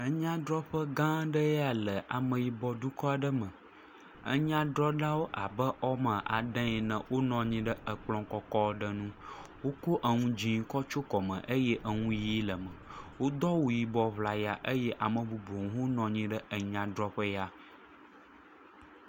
Enyadrɔƒe gã aɖe ya le ameyibɔ dukɔ aɖe me. Enyadrɔlawo abe woame ade ene wonɔ anyi ɖe ekplɔ kɔkɔ aɖe ŋu, wokɔ enu dze kɔ tsyɔ kɔme eye enu ʋe le me, wodo awu yibɔ ŋlaya eye ame bubuwo hã nɔ anyi ɖe enyadrɔƒe ya.